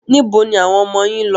Níbo ni àwọn ọmọ yín lọ?